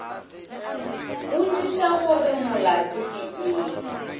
botšiša gore molato ke eng